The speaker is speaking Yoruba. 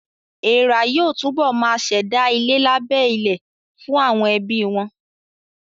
Èèrà yóò túbọ̀ ma ṣẹ̀dá ilé lábẹ́ ilẹ̀ fún àwọn ẹbí wọn